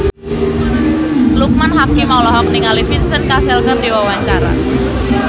Loekman Hakim olohok ningali Vincent Cassel keur diwawancara